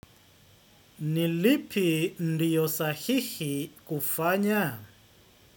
Ni lipi ndiyo sahihi kufanya?